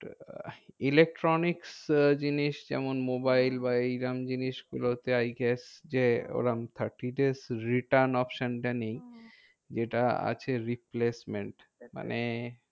Electronics জিনিস যেমন mobile বা এইরম জিনিসগুলোতে I guess যে ওরম thirty days return option টা নেই। হ্যাঁ যেটা আছে replacement মানে